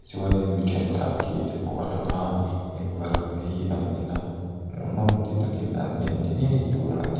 chuanin mi thenkhat ke te pawh a langa heng varak te hi an enab hmuhnawm ti takin an en ni ngei tur ani.